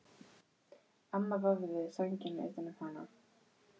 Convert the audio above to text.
Amma vafði sænginni utan um hana.